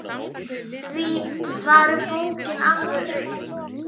Því var bókin alveg auð.